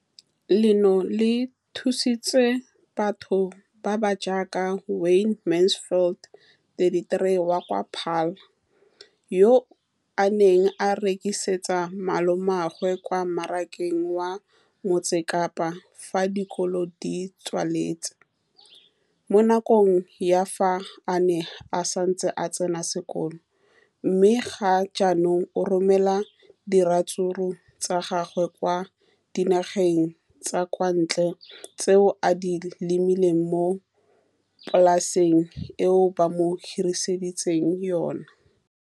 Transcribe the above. Leno le thusitse batho ba ba jaaka Wayne Mansfield, 33, wa kwa Paarl, yo a neng a rekisetsa malomagwe kwa Marakeng wa Motsekapa fa dikolo di tswaletse, mo nakong ya fa a ne a santse a tsena sekolo, mme ga jaanong o romela diratsuru tsa gagwe kwa dinageng tsa kwa ntle tseo a di lemileng mo polaseng eo ba mo hiriseditseng yona.